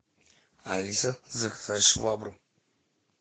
алиса заказать швабру